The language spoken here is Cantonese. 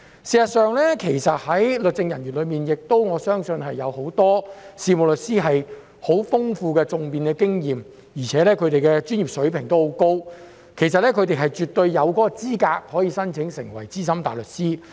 事實上，在律政人員中，我相信很多事務律師也具有十分豐富的訟辯經驗，而且他們的專業水平亦很高，其實他們絕對有資格申請成為資深大律師。